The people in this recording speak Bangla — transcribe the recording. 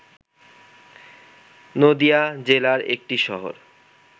নদীয়া জেলার একটি শহর